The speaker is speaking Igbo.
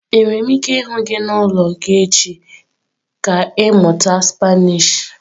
Enwere m ike ịhụ gị n'ụlọ gị echi?, ka ịmụta spanish.